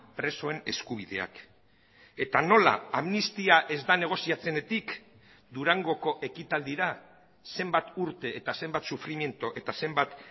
presoen eskubideak eta nola amnistia ez da negoziatzenetik durangoko ekitaldira zenbat urte eta zenbat sufrimendu eta zenbat